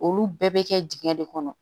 Olu bɛɛ bɛ kɛ dingɛ de kɔnɔ